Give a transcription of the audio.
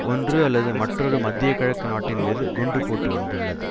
ஒன்று அல்லது மற்றொரு மத்தியகிழக்கு நாட்டின் மீது குண்டு போட்டு வந்துள்ளது